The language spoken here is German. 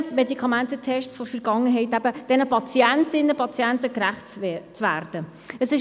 Wir kommen zum Traktandum 35, der Motion von Grossrat Gnägi, «Sinnvolle Anpassung des Alarmierungsperimeters […]».